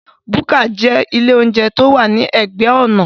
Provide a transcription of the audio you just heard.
Búkà jẹ́ ilé óúnjẹ tí ó wà ní ẹ̀gbẹ́ ọ̀nà